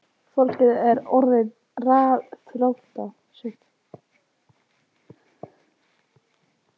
Fólkið er orðið ráðþrota